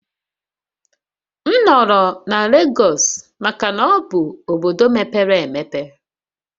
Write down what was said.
M nọrọ na Lagos maka na ọ bụ obodo mepere emepe